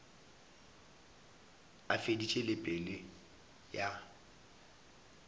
a feditše le pelo ya